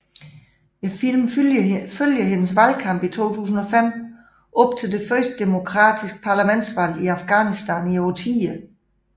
Filmen følger hendes valgkamp i 2005 op til det første demokratiske parlamentsvalg i Afghanistan i årtier